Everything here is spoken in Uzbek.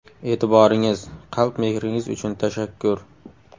E’tiboringiz, qalb mehringiz uchun tashakkur!